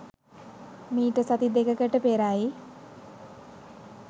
මීට සති දෙකකට පෙරයි.